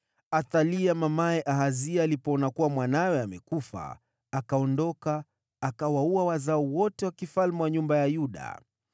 Wakati Athalia mamaye Ahazia alipoona kuwa mwanawe amekufa, akainuka na kuiangamiza jamaa yote ya mfalme ya nyumba ya Yuda.